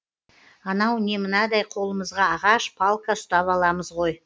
анау не мынадай қолымызға ағаш палка ұстап аламыз ғой